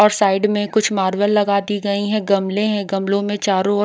और साइड में कुछ मार्बल लगा दी गई हैं गमले हैं गमलों में चारों ओर--